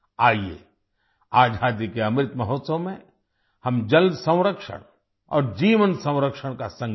आइये आजादी के अमृत महोत्सव में हम जलसंरक्षण और जीवनसंरक्षण का संकल्प लें